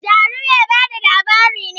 Jaru mai ba da labari ne